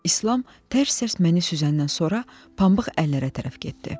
İslam tərs-tərs məni süzəndən sonra pambıq əllərə tərəf getdi.